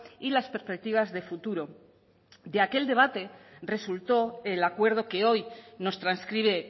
y las perspectivas de futuro de aquel debate resultó el acuerdo que hoy nos transcribe